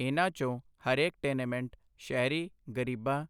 ਇਨ੍ਹਾਂ ਚੋਂ ਹਰੇਕ ਟੈਨੇਮੈਂਟ ਸ਼ਹਿਰੀ ਗ਼ਰੀਬਾਂ,